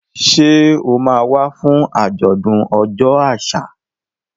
Ṣé o máa wá fún àjọ̀dún ọjọ́ àṣà?